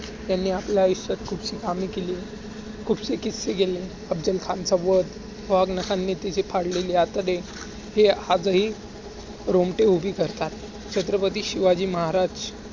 त्यांनी आपल्या आयुष्यात खूपशी कामे केली, खुपसे किस्से केले. अफजल खानचा वध, वाघनखांनी त्याचे फाडलेले आतडे हे आजही रोमटे उभे करतात.